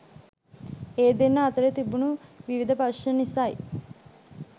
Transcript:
ඒ දෙන්නා අතරේ තිබුණු විවිධ ප්‍රශ්න නිසයි